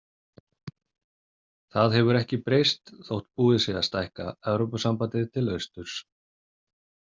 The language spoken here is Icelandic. Það hefur ekki breyst þótt búið sé að stækka Evrópusambandið til austurs.